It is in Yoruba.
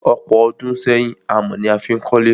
Ọ̀pọ̀ ọdún sẹ́yìn, amọ̀ ni a fí n kólé.